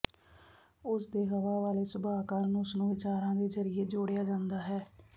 ਉਸ ਦੇ ਹਵਾ ਵਾਲੇ ਸੁਭਾਅ ਕਾਰਨ ਉਸ ਨੂੰ ਵਿਚਾਰਾਂ ਦੇ ਜ਼ਰੀਏ ਜੋੜਿਆ ਜਾਂਦਾ ਹੈ